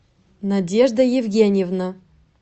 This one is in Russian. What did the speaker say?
надежда евгеньевна